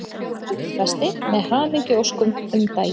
Gullfesti með hamingjuóskum um daginn.